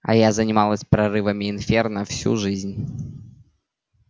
а я занималась прорывами инферно всю жизнь